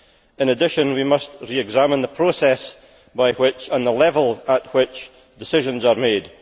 In addition, we must re examine the process by which, and the level at which, decisions are made.